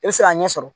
I bɛ se k'a ɲɛ sɔrɔ